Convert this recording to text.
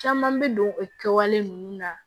Caman bɛ don o kɛwale ninnu na